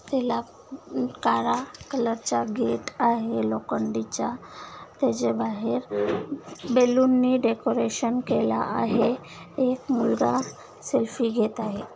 त्याला काळा कलर च गेट आहे लोखंडीचा त्याच्या बाहेर बलून नी डेकोरेशन केल आहे एक मुलगा सेल्फी घेत आहे.